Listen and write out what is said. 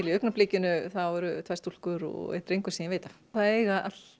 í augnablikinu eru tvær stúlkur og einn drengur sem ég veit af það eiga